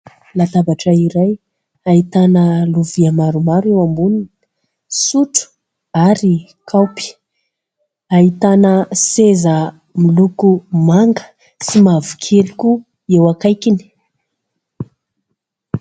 Latabatra iray ahitana lovia maromaro eo amboniny: sotro ary kaopy. Ahitana seza moloko manga sy mavokely koa eo akaikiny